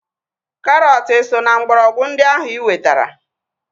Karọt eso na mgbọrọgwụ ndị ahu iwetara?